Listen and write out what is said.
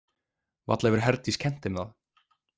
Varla hefur Herdís kennt þeim það?